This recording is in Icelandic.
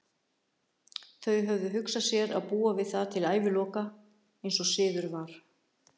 Þau höfðu hugsað sér að búa við það til æviloka, eins og siður var.